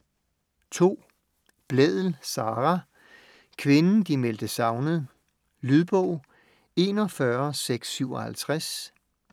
Blædel, Sara: Kvinden de meldte savnet Lydbog 41657